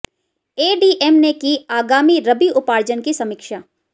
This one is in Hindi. एडीएम ने की आगामी रबी उपार्जन की समीक्षा